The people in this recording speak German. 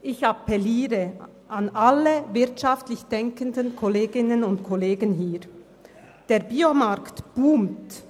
Ich appelliere an alle wirtschaftlich denkenden Kolleginnen und Kollegen in diesem Saal: Der BioMarkt boomt.